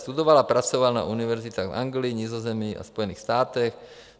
Studoval a pracoval na univerzitách v Anglii, Nizozemí a Spojených státech.